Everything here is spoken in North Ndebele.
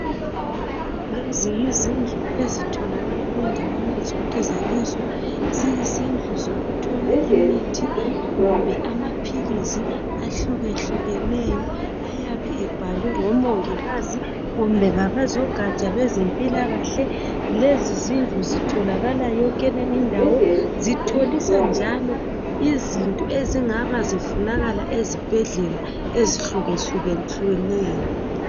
Lezi yizindlu ezitholakala kundawana zonke zelizwe .Ziyizindlu zokuthola imithi kumbe amaphilisi ahluke hlukeneyo .Ayabe ebhalwe ngomongikazi kumbe ngabozogatsha lwezempilakahle . Lezi zindlu ezitholakala yonke indawo . Zitholisa njalo izinto ezingaba zifunakala ezibhedlela ezihluke hlukeneyo .